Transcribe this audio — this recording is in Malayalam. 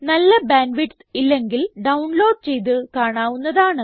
നല്ല ബാൻഡ് വിഡ്ത്ത് ഇല്ലെങ്കിൽ ഡൌൺലോഡ് ചെയ്ത് കാണാവുന്നതാണ്